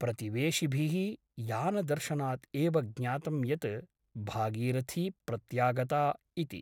प्रतिवेशिभिः यानदर्शनात् एव ज्ञातं यत् भागीरथी प्रत्यागता इति ।